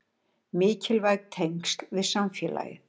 Mikilvæg tengsl við samfélagið